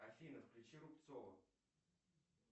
афина включи рубцова